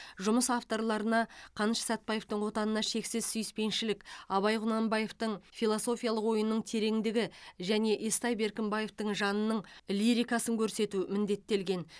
жұмыс авторларына қаныш сәтбаевтың отанына шексіз сүйіспеншілік абай құнанбаевтың философиялық ойының тереңдігі және естай беркімбаевтың жанының лирикасын көрсету міндеттелген